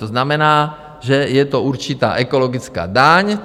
To znamená, že je to určitá ekologická daň.